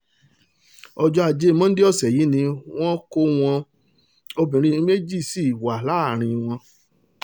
ọjọ́ ajé monde ọ̀sẹ̀ yìí ni wọ́n kó wọn obìnrin méjì sí wà lára wọn